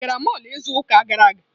Ị gara mọlụ izu ụka gara aga?